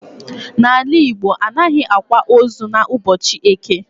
N'ala Igbo anaghị akwa ozu n'ụbọchị eke